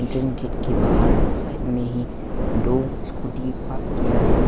जिन gate के बाहर side में ही दो स्कूटी पार्क किया है।